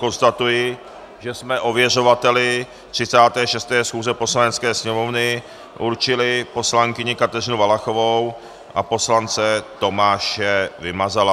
Konstatuji, že jsme ověřovateli 36. schůze Poslanecké sněmovny určili poslankyni Kateřinu Valachovou a poslance Tomáše Vymazala.